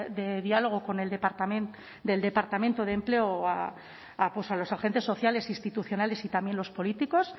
de diálogo con el departamento de empleo a los agentes sociales institucionales y también los políticos